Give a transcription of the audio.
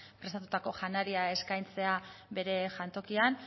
prestatutako janaria eskaintzea bere jantokian